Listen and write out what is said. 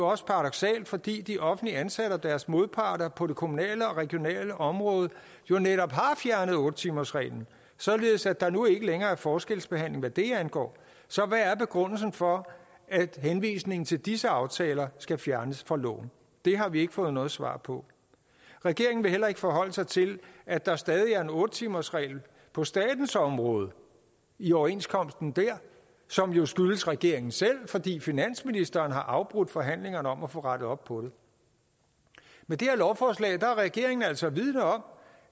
også paradoksalt fordi de offentligt ansatte og deres modparter på det kommunale og regionale område jo netop har fjernet otte timersreglen således at der nu ikke længere er forskelsbehandling hvad det angår så hvad er begrundelsen for at henvisningen til disse aftaler skal fjernes fra loven det har vi ikke fået noget svar på regeringen vil heller ikke forholde sig til at der stadig er en otte timersregel på statens område i overenskomsten der som jo skyldes regeringen selv fordi finansministeren har afbrudt forhandlingerne om at få rettet op på det med det her lovforslag er regeringen altså vidende om